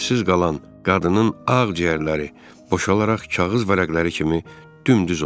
Nəfəssiz qalan qadının ağciyərləri boşalaraq kağız vərəqləri kimi dümdüz oldu.